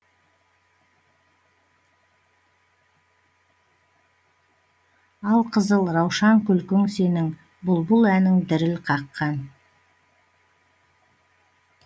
ал қызыл раушан күлкің сенің бұлбұл әнің діріл қаққан